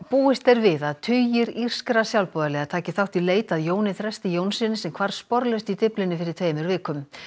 búist er við að tugir írskra sjálfboðaliða taki þátt í leit að Jóni Þresti Jónssyni sem hvarf sporlaust í Dyflinni fyrir tveimur vikum